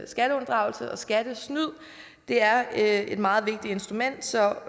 skatteunddragelse og skattesnyd det er et meget vigtigt instrument så